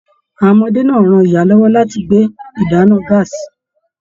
Àwọn ọmọdé náà ran ìyá lọwọ láti gbé ìdáná gàásí.